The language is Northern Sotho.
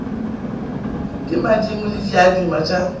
ke madimo le diaduma tša